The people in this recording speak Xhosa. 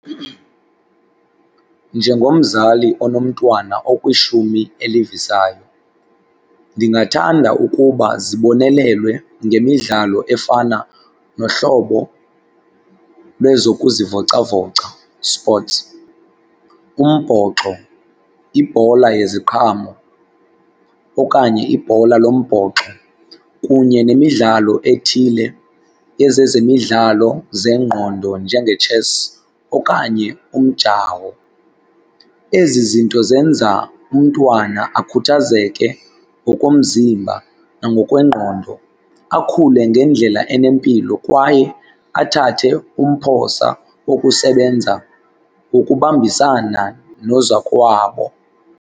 Njengomzali onomntwana okwishumi elivisayo ndingathanda ukuba zibonelelwe ngemidlalo efana nohlobo lwezokuzivocavoca, sports, umbhoxo, ibhola yeziqhamo, okanye ibhola lombhoxo, kunye nemidlalo ethile, ezezemidlalo zengqondo njengetshesi okanye umjawo. Ezi zinto zenza umntwana akhuthazeke ngokomzimba nangokwengqondo, akhule ngendlela enempilo, kwaye athathe umphosa wokusebenza ukubambisana nozakowabo.